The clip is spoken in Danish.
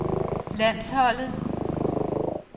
landsholdet